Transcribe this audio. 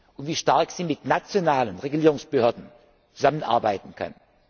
und wie stark sie mit nationalen Regulierungsbehörden zusammenarbeiten kann.